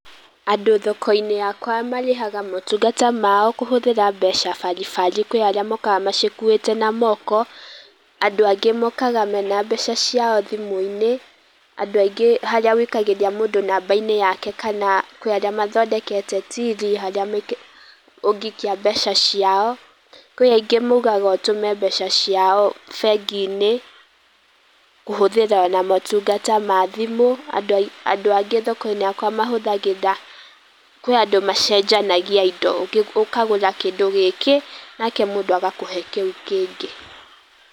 Andũ thoko-inĩ yakwa marĩhaga motungata mao kũhũthĩra mbeca bari bari. Kwĩ arĩa mokaga macikuĩte na moko, andũ angĩ moka mena mbeca ciao thimũ-inĩ, andũ aingĩ harĩa wikagĩria mũndũ thimũ inĩ yake kana kwĩ arĩa mathondekete tiri, harĩa ũngĩikia mbeca ciao. Kwĩ angĩ maugaga ũtũme mbeca ciao bengi-inĩ, kũhũthĩra na motungata ma thimũ, andũ angĩ thoko-inĩ yakwa mahũthagĩra, kwĩ andũ macenjanagia indo. Ũkagũra kĩndũ gĩkĩ, nake mũndũ agakũhe kĩu kĩngĩ.